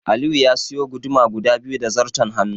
Aliyu ya suyi guduma guda biyu da zarton hannu.